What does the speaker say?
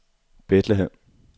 Bethlehem